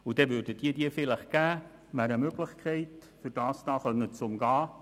Das wäre eine Möglichkeit, um das zu umgehen.